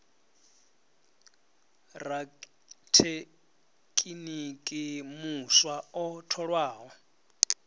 ha rathekiniki muswa o tholwaho